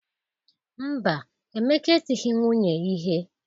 Mba, Emeka etighi nwunye ihe.